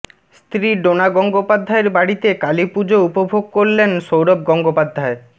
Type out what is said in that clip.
স্ত্রী ডোনা গঙ্গোপাধ্যায়ের বাড়িতে কালীপুজো উপভোগ করলেন সৌরভ গঙ্গোপাধ্যায়